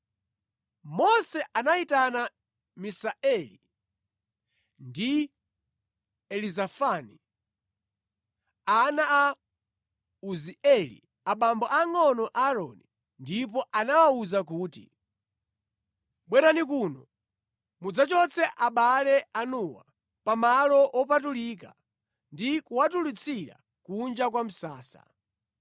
Mose anayitana Misaeli ndi Elizafani, ana a Uzieli, abambo angʼono a Aaroni, ndipo anawawuza kuti, “Bwerani kuno mudzachotse abale anuwa pa malo wopatulika ndi kuwatulutsira kunja kwa msasa.”